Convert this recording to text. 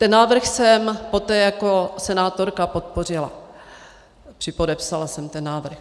Ten návrh jsem poté jako senátorka podpořila, připodepsala jsem ten návrh.